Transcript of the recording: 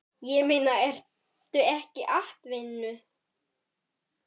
Ég meina, ertu ekki atvinnu